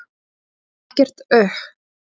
Ekkert uhh.